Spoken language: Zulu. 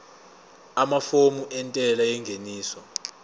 amafomu entela yengeniso